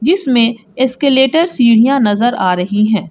इसमें एस्केलेटर सीढ़ियां नजर आ रही हैं।